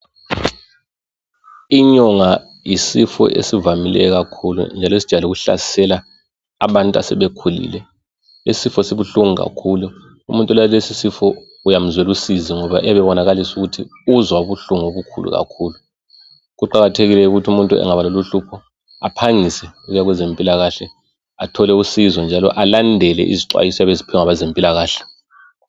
Inyonga yisifo esivamileyo kakhulu njalo esijwayele ukuhlasela abantu asebekhulile. Isifo sibuhlungu kakhulu. Umuntu olales'isifo uyamzwel'usizi ngoba uyabebonakalisa ukuthi uzwa ubuhlungu obukhulu kakhulu. Kuqakathekile ukuthi umuntu angaba laloluhlupho aphangise ukuya kwezempilakahle athole usizo njalo alandele izixwayiso ayabe eziphiwe ngabazempilakahle.